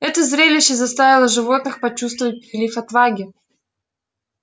это зрелище заставило животных почувствовать прилив отваги